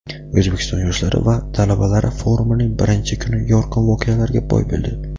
O‘zbekiston yoshlari va talabalari forumining birinchi kuni yorqin voqealarga boy bo‘ldi.